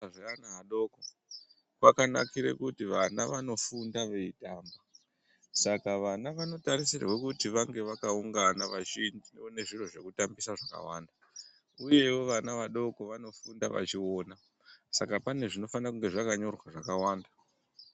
Kuzvikora zveana adoko kwakanakire kuti vana anofunda veitamba saka vana vanotarisirwe kuti vange vakaungana vachione zviro zvekutambisa zvakawanda uyewo vanavadoko vanofunda vachiona saka pane zvinofanire kunge zvakanyorwa zvakawanda.